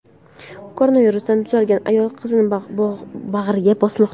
Koronavirusdan tuzalgan ayol qizini bag‘riga bosmoqda.